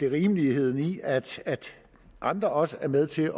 rimeligheden i at andre også er med til